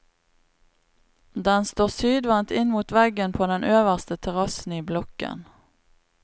Den står sydvendt inn mot veggen på den øverste terrassen i blokken.